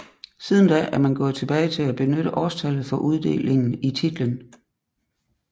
Siden da er man gået tilbage til at benytte årstallet for uddelingen i titlen